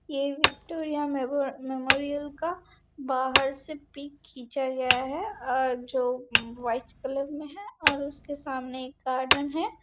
ये Victoria memo memorial का बाहर से पिक खीचा गया है और जो व्हाईट कलर में है और उसके सामने एक गार्डन है|